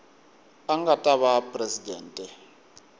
a nga ta va presidente